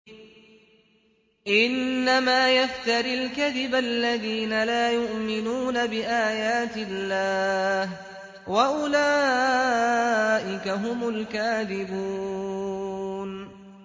إِنَّمَا يَفْتَرِي الْكَذِبَ الَّذِينَ لَا يُؤْمِنُونَ بِآيَاتِ اللَّهِ ۖ وَأُولَٰئِكَ هُمُ الْكَاذِبُونَ